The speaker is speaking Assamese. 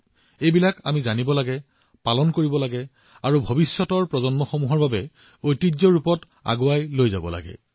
আমি ইয়াক জানিব লাগিব ইয়াক জীয়াই ৰাখিব লাগিব আৰু ইয়াক আগন্তুক প্ৰজন্মৰ বাবে উত্তৰাধিকাৰী হিচাপে আগবঢ়াই নিব লাগিব